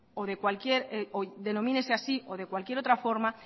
o de cualquier o denomínese así o de cualquier otra forma